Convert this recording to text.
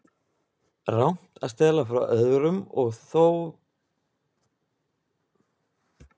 Rangt að stela frá öðrum- og var þó reynt, hvað haldið þið.